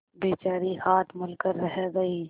बेचारी हाथ मल कर रह गयी